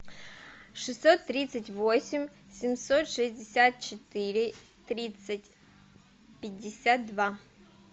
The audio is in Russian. шестьсот тридцать восемь семьсот шестьдесят четыре тридцать пятьдесят два